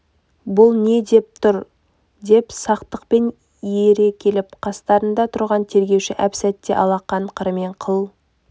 бұл не ойлап тұр деп сақтықпен ере келіп қастарыңда тұрған тергеуші әп-сәтте алақан қырымен қыл